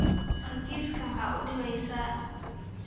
War jiiska maxa uudhibeysa.